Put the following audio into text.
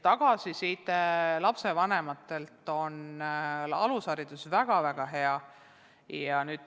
Tagasiside lapsevanematelt on alushariduse puhul väga-väga hea.